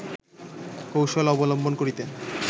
কৌশল অবলম্বন করিতে